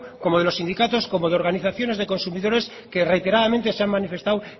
como de los sindicatos como de organizaciones de consumidores que reiteradamente se han manifestado